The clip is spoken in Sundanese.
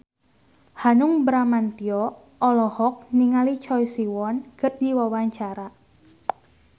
Hanung Bramantyo olohok ningali Choi Siwon keur diwawancara